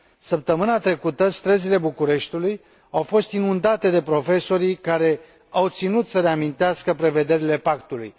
Săptămâna trecută, străzile Bucureștiului au fost inundate de profesorii care au ținut să le amintească prevederile Pactului.